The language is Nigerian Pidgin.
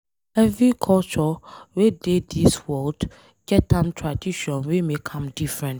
Every culture wey dey dis world, get em tradition wey make am different.